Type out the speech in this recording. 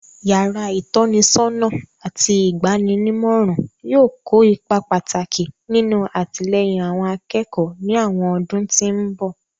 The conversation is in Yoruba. Yàrá ìtọ́nisọ́nà àti ìgba'ninímọ̀ràn yóò kó ipa pàtàkì nínú àtìlẹ́yìn àwọn akẹ́kọ̀ọ́ ní àwọn ọdún tí mbọ̀